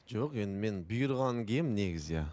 жоқ енді мен бұйырғанын киемін негізі иә